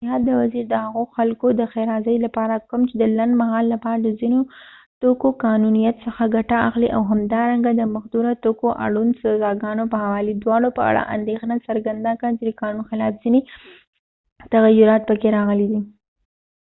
د صحت وزیر د هغو خلکود ښیرازۍ لپاره کوم چې د لنډمهال لپاره د ځینو توکو قانونيت څخه ګټه اخلي او همدارنګه د مخدره توکو اړوند سزاګانو په حوالې دواړو په اړه اندیښنه څرګنده کړه چې د قانون خلاف ځینې تغییرات پکې راغلي دي